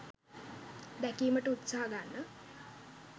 දැකීමට උත්සාහ ගන්න.